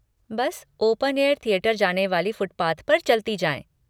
बस open air theatre जाने वाले फुटपाथ पर चलती जाएँ।